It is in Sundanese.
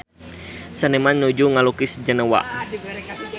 Seniman nuju ngalukis Jenewa